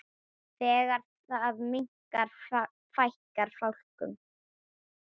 Þegar það minnkar fækkar fálkum.